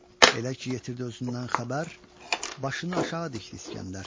Elə ki yetirdi özündən xəbər, başını aşağı dikdi İskəndər.